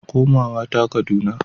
Komawa ta Kaduna.